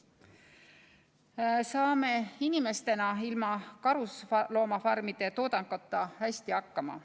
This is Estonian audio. Me saame inimestena ilma karusloomafarmide toodanguta hästi hakkama.